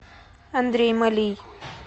андрей малий